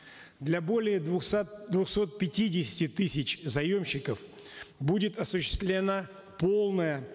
для более двухсот пятидесяти тысяч заемщиков будет осуществлена полная